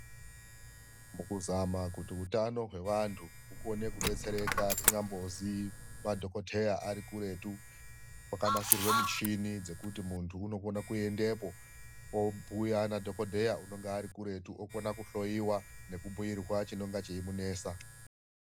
Mukuzama kuti hutano hwevandu hukone kudetsereka kunyambozi madhokoteya arikuretu. Kwakanasirwe michini dzekuti mundu anokone kuendepo obhuya nadhogodheya unonga ari kuretu, okona kuhloyewa nekubhuirwa chinenga cheimunesa.